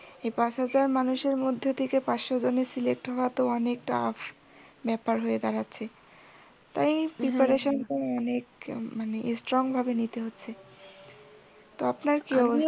এই পাঁচ হাজার মানুষের মধ্যে থেকে পাঁচশো জনের select হওয়া তো অনেক tough ব্যাপার হয়ে দাঁড়াচ্ছে। তাই preparation টা অনেক মানে strong ভাবে নিতে হচ্ছে।